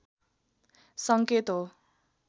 सङ्केत हो